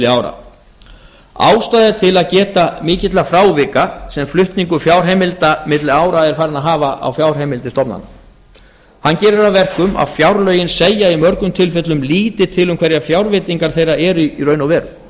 ára ástæða er til að geta mikilla frávika sem flutningur fjárheimilda milli ára er farinn að hafa á fjárheimildir stofnana hann gerir að verkum að fjárlögin segja í mörgum tilfellum lítið til um hverjar fjárveitingar þeirra eru í raun og